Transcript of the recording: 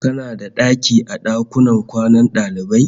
Kana da daki a dakunan kwanan daliban?